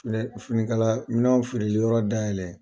finikala minɛnw feereli yɔrɔ dayɛlɛ.